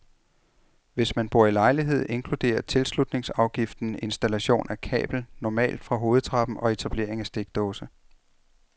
Hvis man bor i lejlighed inkluderer tilslutningsafgiften installation af kabel, normalt fra hovedtrappen, og etablering af stikdåse.